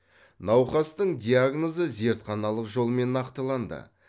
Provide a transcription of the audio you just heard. науқастың диагнозы зертханалық жолмен нақтыланды